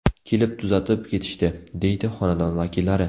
Kelib tuzatib ketishdi”, deydi xonadon vakillari.